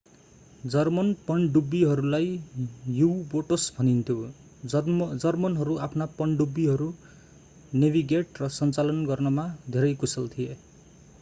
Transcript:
German पनडुब्बीहरूलाई U boats भनिन्थ्यो जर्मनहरू आफ्ना पनडुब्बीहरू नेभिगेट र सञ्चालन गर्नमा धेरै कुशल थिए